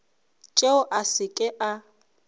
tšeo a se ke a